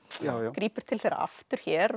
grípur til þeirra aftur hér